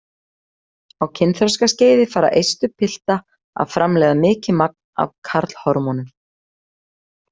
Á kynþroskaskeiði fara eistu pilta að framleiða mikið magn af karlhormónum.